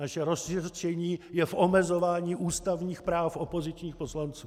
Naše rozhořčení je v omezování ústavních práv opozičních poslanců.